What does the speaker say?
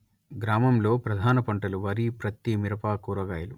గ్రామంలో ప్రధాన పంటలు వరి ప్రత్తి మిరప కూరగాయలు